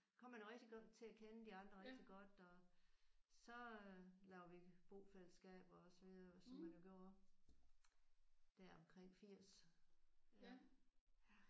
Kom man rigtig godt til at kende de andre rigtig godt og så lavede vi bofællesskab og så videre som man jo gjorde der omkring 80